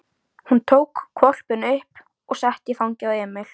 Hún tók hvolpinn upp og setti í fangið á Emil.